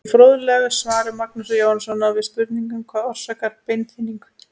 Í fróðlegu svari Magnúsar Jóhannssonar við spurningunni Hvað orsakar beinþynningu?